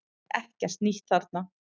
Það er ekkert nýtt þarna